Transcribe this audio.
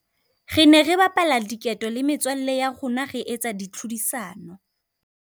Re ne re bapala diketo le metswalle ya rona re etsa ditlhodisano.